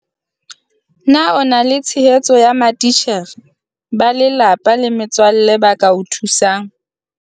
Na o na le tshehetso ya matitjhere, ba lelapa le metswalle ba ka o thusang ha